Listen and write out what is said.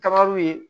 Kaba ye